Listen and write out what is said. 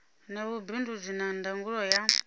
na vhubindudzi na ndangulo ya